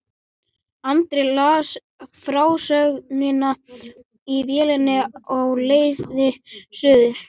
Andri las frásögnina í vélinni á leið suður.